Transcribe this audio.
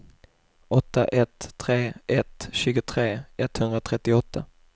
åtta ett tre ett tjugotre etthundratrettioåtta